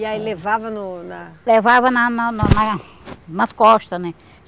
E aí levava no na... Levava na na na na nas costas, né?